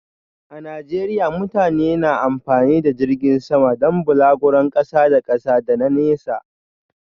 A Najeriya mutane na amfani da jirgin sama don balaguron kasa da kasa da na nesa.